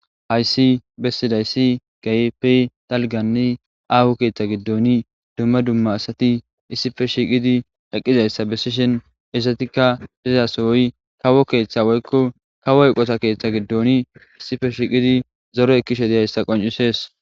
Hayis besidayis keehipe daliga aaho keethan giidon duuma duuma asati issipe shiiqid eqqidayisa beesishen iizatika diza soho kawo keetha woykko kawo eqoota keetha giidion issipe shiiqid zoore ekiishe qonicess.